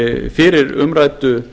fyrir umræddu